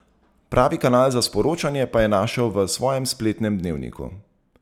Pravi kanal za sporočanje pa je našel v svojem spletnem dnevniku.